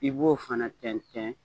I b'o fana tɛntɛn